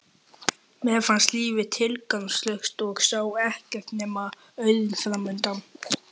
Mér fannst lífið tilgangslaust og sá ekkert nema auðn framundan.